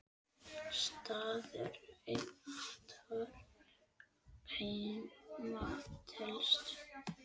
Staður athvarf heima telst.